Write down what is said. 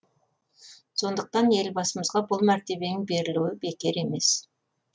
сондықтан елбасымызға бұл мәртебенің берілуі бекер емес